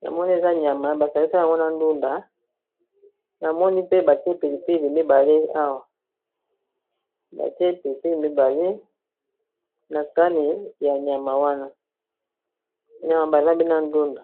namoni eza nyama basangisi yango na ndunda namoni pe batie pili pili mibale awa batie pili pili mibale na sani ya nyama wana nyama balambi na ndunda.